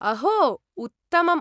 अहो, उत्तमम्।